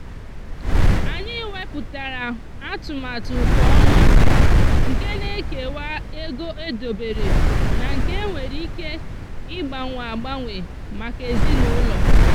anyị wepuatara atụmatụ kwa ọnwa nke na-ekewa ego edobere na nke e nwere ike ịgbanwe agbanwe maka ezinụụlọ.